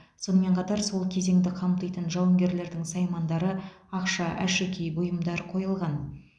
сонымен қатар сол кезеңді қамтитын жауынгерлердің саймандары ақша әшекей бұйымдар қойылған